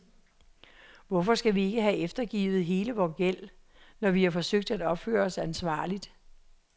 Hvorfor skal vi ikke have eftergivet hele vores gæld, når vi har forsøgt at opføre os ansvarligt?